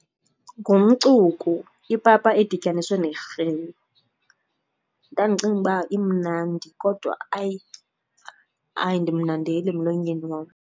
Ngumcuku, ipapa edityaniswe nerhewu. Ndandicinga uba imnandi kodwa hayi ayindimnandeli emlonyeni wam.